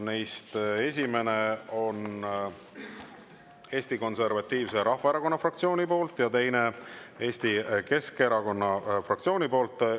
Neist esimene on Eesti Konservatiivse Rahvaerakonna fraktsioonilt ja teine Eesti Keskerakonna fraktsioonilt.